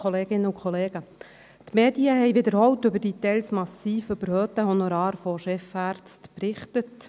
Die Medien haben wiederholt über die teils massiv überhöhten Honorare von Chefärzten berichtet.